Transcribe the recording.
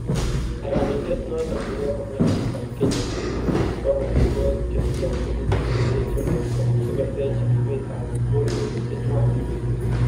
Karanindeet noton kokamach biik ab Kenya kwam amitwokik chetindo tukuk chetecho borto sikotech ribeet ab borweek chechwak